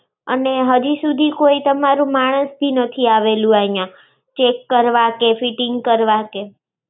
અને હરિ સુધી કોઈ તમારૂ માણસ બી નથી આવેલું ઐયાં! check કરવા કે fitting કરવા કે!